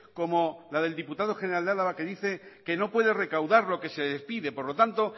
como la del diputado general de álava que dice que no puede recaudar lo que se le pide por lo tanto